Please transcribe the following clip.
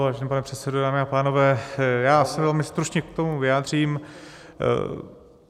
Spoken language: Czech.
Vážený pane předsedo, dámy a pánové, já se velmi stručně k tomu vyjádřím.